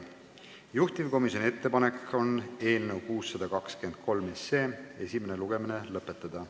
Juhtivkomisjoni ettepanek on eelnõu 623 esimene lugemine lõpetada.